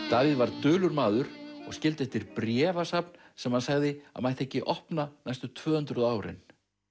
Davíð var dulur maður og skildi eftir bréfasafn sem hann sagði að mætti ekki opna næstu tvö hundruð árin